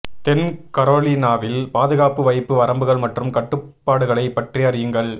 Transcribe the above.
தென் கரோலினாவில் பாதுகாப்பு வைப்பு வரம்புகள் மற்றும் கட்டுப்பாடுகளைப் பற்றி அறியுங்கள்